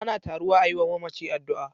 Ana taruwa a yi wa mamaci addu'a.